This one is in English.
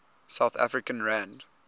south african rand